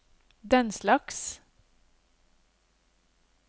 denslags